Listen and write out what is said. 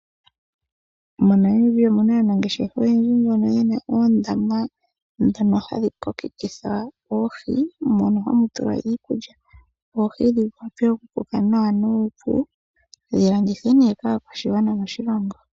MoNamibia omuna aanangeshefa oyendji mbono ye na oondama hadhi kokekitha oohi mono hamu tulwa iikulya. Oohi dhi kwatwele naanuuvu dhi landithwe nokaakwashigwana moshilongo.